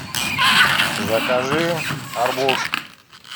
закажи арбуз